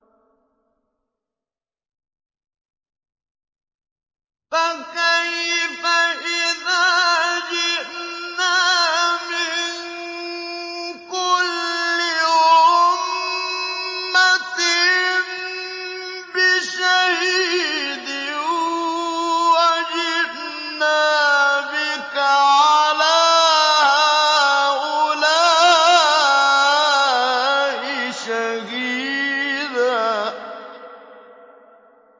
فَكَيْفَ إِذَا جِئْنَا مِن كُلِّ أُمَّةٍ بِشَهِيدٍ وَجِئْنَا بِكَ عَلَىٰ هَٰؤُلَاءِ شَهِيدًا